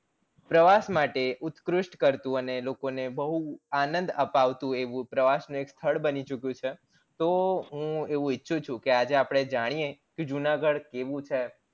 પ્રવાસ માટે ઉત્કૃષ્ટ કરતું અને લોકો ને બૌ આનંદ અપાવતું એવું પ્રવાસ નું એક સ્થળ બની ચુક્યું છે તો હું એવું ઈચ્છું છુ કે આજે અપણે જાણીએ જુનાગઢ કેવું છે